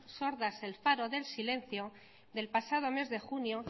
sordas el faro del silencio del pasado mes de junio